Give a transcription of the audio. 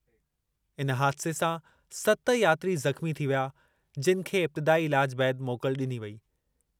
इन हादिसे सां सत यात्री ज़ख़्मी थी विया, जिनि खे इब्तिदाई इलाज बैदि मोकल डि॒नी वेई।